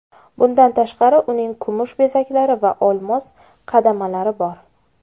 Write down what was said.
Bundan tashqari, uning kumush bezaklari va olmos qadamalari bor.